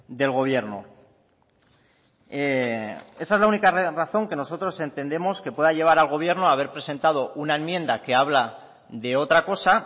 del gobierno esa es la única razón que nosotros entendemos que pueda llevar al gobierno a haber presentado una enmienda que habla de otra cosa